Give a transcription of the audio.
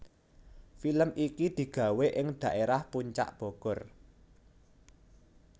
Film iki digawe ing dhaerah Puncak Bogor